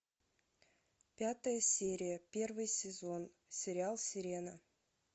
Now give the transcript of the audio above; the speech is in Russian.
пятая серия первый сезон сериал сирена